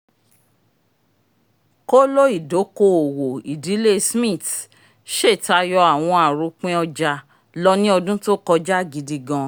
kòló ìdòko-òwò ìdílé smiths ṣe tayọ awọn aropin ọja lọ ni ọdun to kọja gidigan